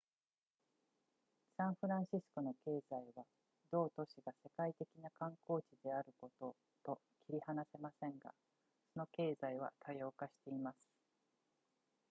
サンフランシスコの経済は同都市が世界的な観光地であることと切り離せませんがその経済は多様化しています